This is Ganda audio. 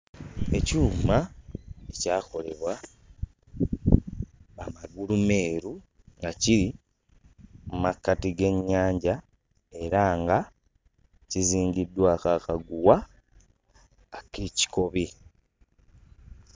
Ekyuma ekyakolebwa Bamagulumeeru nga kiri mu makkati g'ennyanja era nga kizingiddwako akaguwa ak'ekikobe.